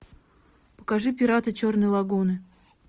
покажи пираты черной лагуны